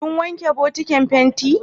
Ka wanke bokatan fenti?